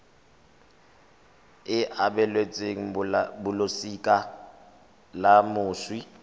e abelwang balosika la moswi